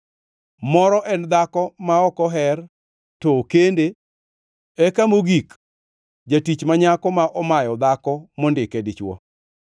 moro en dhako ma ok oher to okende eka mogik jatich ma nyako ma omayo dhako mondike dichwo.